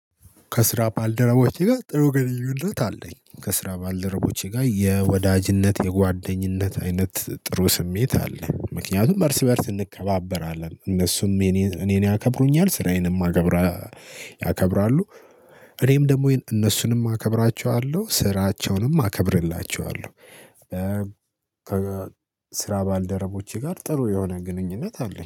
ከስራ ባልደረቦቼ ጋር ጥሩ ግንኙነት አለኝ ከስራ ባልደረቦቼ ጋር የወዳጅነት የጓደኝነት አይነት ጥሩ ስሜት አለኝ ምክንያቱም እርስ በእርስ እንከባበራለን እነሱም እኔን ያከብሩኛል ስራዬንም አከብራለሁ ያከብራሉ እኔም ደግሞ እነሱንም አከብራቸዋለሁ ስራቸውንም አከብርላቸዋለሁ። ከስራ ባልደረቦቼ ጋር ጥሩ የሆነ ግንኙነት አለኝ